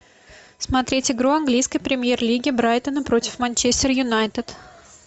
смотреть игру английской премьер лиги брайтона против манчестер юнайтед